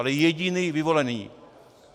Ale jediný vyvolený.